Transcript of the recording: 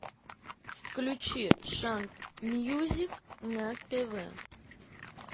включи шант мьюзик на тв